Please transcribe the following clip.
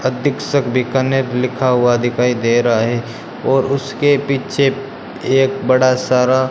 अधिक्षक बीकानेर लिखा हुआ दिखाई दे रहा है और उसके पीछे एक बड़ा सारा --